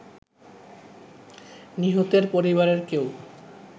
নিহতের পরিবারের কেউ